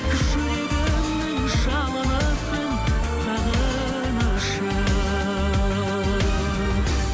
жүрегімнің жалынысың сағынышым